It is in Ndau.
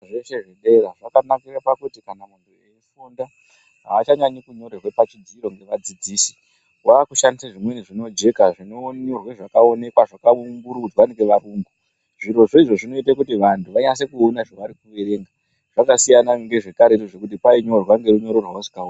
Zvese zvibhedhlera zvakanakira pakuti kana veifunda avachanyanyi kunyorerwa pazvidziro nevadzidzisi vakushandisa zvimweni zvinojeka zvinonyorwa zvakaoneka zvakaumburudzwa ngevayungu. Zvirozvo zvinoita kuti vanhu vanyase kuona zvavarikuverenga zvakasiyana nezvekare zvekuti painyorwa ngerunyorwa rerunyoro rwavasingaoni.